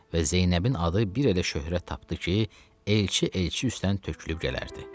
Və Zeynəbin adı bir elə şöhrət tapdı ki, elçi elçi üstdən tökülüb gələrdi.